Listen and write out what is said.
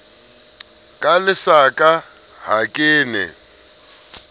ka lesaka ha ke ne